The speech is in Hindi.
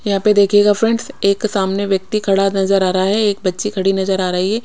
यहा पे देखियेगिगा फ्रेंड्स एक सामने व्यक्ति खड़ा नजर आ रहा है एक बच्ची खड़ी नजर आ रही है।